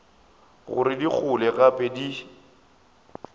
gore di gole gape di